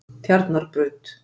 Tjarnarbraut